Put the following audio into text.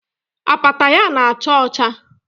Apata ya na-acha ọcha